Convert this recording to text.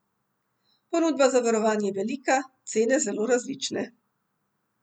Ponudba zavarovanj je velika, cene zelo različne.